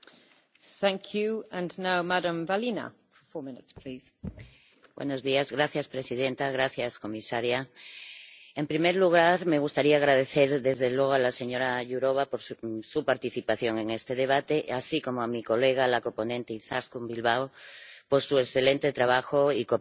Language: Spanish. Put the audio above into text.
Señora presidenta, comisaria, en primer lugar, me gustaría agradecer, desde luego, a la señora Jourová, su participación en este debate, así como a mi colega, la coponente Izaskun Bilbao, su excelente trabajo y cooperación y todo el trabajo que hemos realizado conjuntamente en este informe